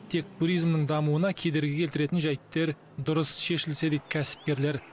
тек туримзнің дамуына кедергі келтіретін жайттер дұрыс шешілсе дейді кәсіпкерлер